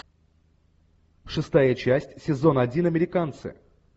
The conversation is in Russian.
шестая часть сезон один американцы